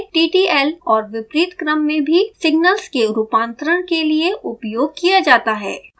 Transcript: यह serial से ttl और विपरीत क्रम में भी सिग्नल्स के रूपांतरण के लिए उपयोग किया जाता है